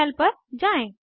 terminal पर जाएँ